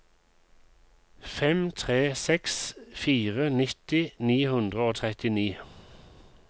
fem tre seks fire nitti ni hundre og trettini